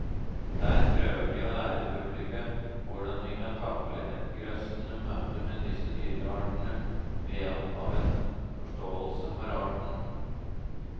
Der prøver de å lære publikum hvordan vi kan takle et grøssende møte med disse dyreartene ved hjelp av en forståelse for arten.